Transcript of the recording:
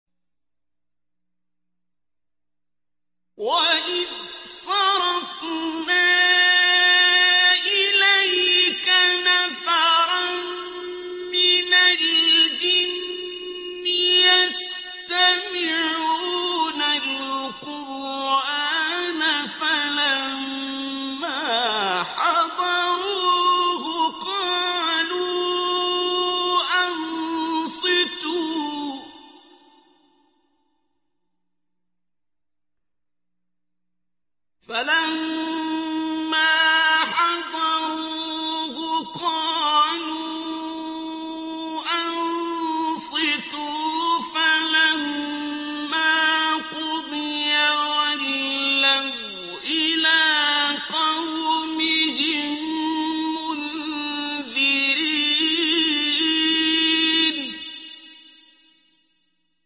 وَإِذْ صَرَفْنَا إِلَيْكَ نَفَرًا مِّنَ الْجِنِّ يَسْتَمِعُونَ الْقُرْآنَ فَلَمَّا حَضَرُوهُ قَالُوا أَنصِتُوا ۖ فَلَمَّا قُضِيَ وَلَّوْا إِلَىٰ قَوْمِهِم مُّنذِرِينَ